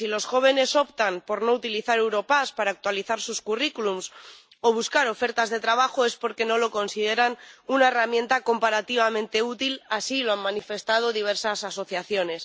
Si los jóvenes optan por no utilizar Europass para actualizar sus currículum o buscar ofertas de trabajo, es porque no lo consideran una herramienta comparativamente útil —así lo han manifestado diversas asociaciones—.